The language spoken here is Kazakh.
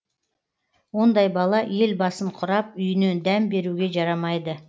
ондай бала ел басын құрап үйінен дәм беруге жарамайды